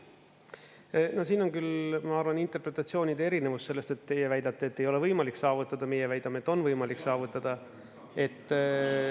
Siin on küll, ma arvan, interpretatsioonide erinevus selles, et teie väidate, et ei ole võimalik saavutada, meie väidame, et on võimalik saavutada.